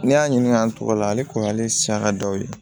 Ne y'a ɲininka an t'o la ale kɔni ale siyan ka dɔw ye